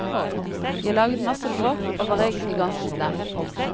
Jeg laget masse bråk, og var egentlig ganske slem.